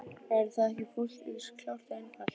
Væri það ekki fullt eins klárt og einfalt?